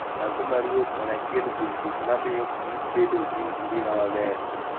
Dhako maruoth en achiel kuom gik mamiyo kich bedo gi ngima maber.